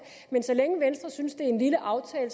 men så længe venstre synes at det er en lille aftale